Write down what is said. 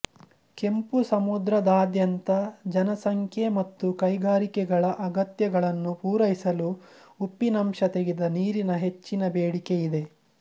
ಕೆಂಪು ಸಮುದ್ರದಾದ್ಯಂತ ಜನಸಂಖ್ಯೆ ಮತ್ತು ಕೈಗಾರಿಕೆಗಳ ಅಗತ್ಯಗಳನ್ನು ಪೂರೈಸಲು ಉಪ್ಪಿನಂಶ ತೆಗೆದ ನೀರಿಗೆ ಹೆಚ್ಚಿನ ಬೇಡಿಕೆ ಇದೆ